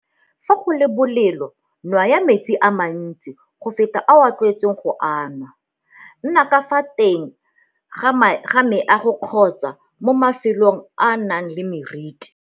Fa go le bolelo nwaya metsi a mantsi go feta ao o tlwaetseng go a anwa. Nna ka fa teng ga meago kgotsa mo mafelong ao a nang le meriti.